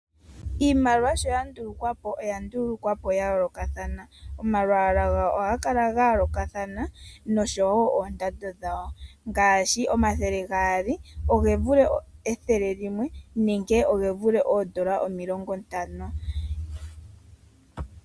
Iimaliwa sho yandulukwapo oyandulukwapo yayoolokathana. Omalwaala gayo ohaga kala gayoolokathana noshowo oondando dhawo. Ngaashi omathele gaali oge vule ethele limwe nenge oge vule oondola omilongo ntano.